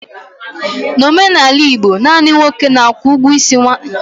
N'omenala Igbo, naanị nwoke na-akwụ ụgwọ isi nwaanyị.